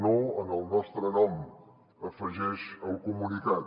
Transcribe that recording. no en el nostre nom afegeix el comunicat